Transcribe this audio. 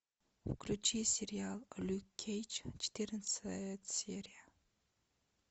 включи сериал люк кейдж четырнадцатая серия